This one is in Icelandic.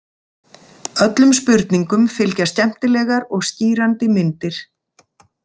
Öllum spurningum fylgja skemmtilegar og skýrandi myndir.